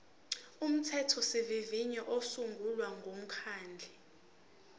umthethosivivinyo usungula umkhandlu